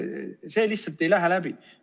See lihtsalt ei lähe läbi.